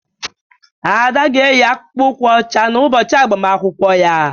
Ada ga-eyi akpụkpọ ụkwụ ọcha n'ụbọchị agbamakwụkwọ ya